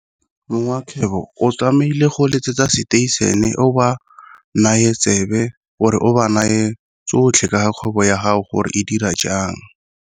Mongwe wa kgwebo o tlamahile go letsetsa station-e o ba nae tsebe or-e o ba nae tsotlhe ka kgwebo ya gago gore e dira jang.